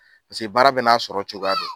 Paseke baara bɛ n'a sɔrɔ cogoya don.